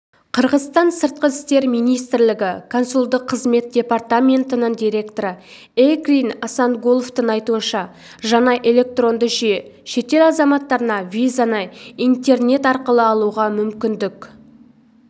қырғызстан сыртқы істер министрлігі консулдық қызмет департаментінің директоры эркин асангуловтың айтуынша жаңа электронды жүйе шетел азаматтарына визаны интернет арқылы алуға мүмкіндік